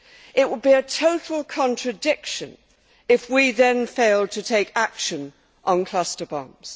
It will be a total contradiction if we then failed to take action on cluster bombs.